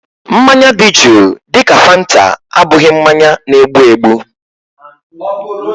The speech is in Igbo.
Mmanya dị juu dịka fanta abụghị mmanya na-egbu egbu